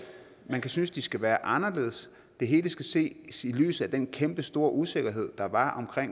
man kan synes at de skal være anderledes det hele skal ses i lyset af den kæmpestore usikkerhed der var om